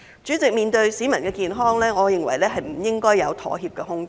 主席，面對市民的健康，我認為不應該有妥協的空間。